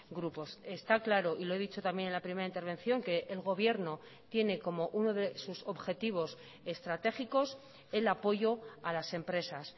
grupos está claro y lo he dicho también en la primera intervención que el gobierno tiene como uno de sus objetivos estratégicos el apoyo a las empresas